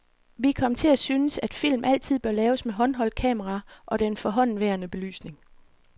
Vi kom til at synes, at film altid bør laves med håndholdt kamera og den forhåndenværende belysning.